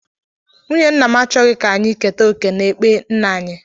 Nwunye nna m achọghị ka anyị keta oké n'ekpe nna anyị